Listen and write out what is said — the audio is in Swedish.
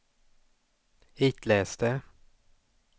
itläs det